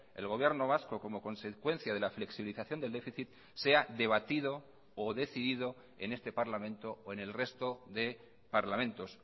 el gobierno vasco como consecuencia de la flexibilización del déficit sea debatido o decidido en este parlamento o en el resto de parlamentos